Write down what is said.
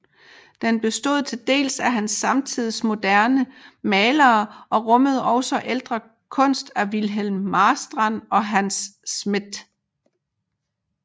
Den bestod til dels af hans samtids moderne malere og rummede også ældre kunst af Wilhelm Marstrand og Hans Smidth